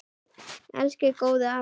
Elsku góði afi okkar.